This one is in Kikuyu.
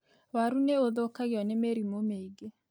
Waru nĩ ũthũkagio nĩ mĩrimũ mĩingĩ.